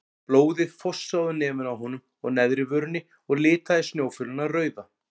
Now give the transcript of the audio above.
Blóðið fossaði úr nefinu á honum og neðri vörinni og litaði snjófölina rauða.